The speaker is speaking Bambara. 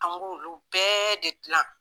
An k'olu olu bɛɛ de dilan